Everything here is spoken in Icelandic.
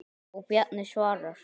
Og Bjarni svarar.